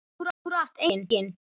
Akkúrat enginn.